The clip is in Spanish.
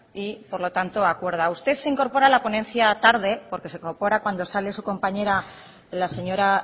y por lo tanto acuerda usted se incorpora a la ponencia tarde porque se incorpora cuando sale su compañera la señora